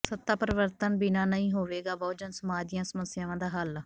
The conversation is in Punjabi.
ਸੱਤਾ ਪਰਿਵਰਤਨ ਬਿਨਾਂ ਨਹੀਂ ਹੋਵੇਗਾ ਬਹੁਜਨ ਸਮਾਜ ਦੀਆਂ ਸਮੱਸਿਆਵਾਂ ਦਾ ਹੱਲ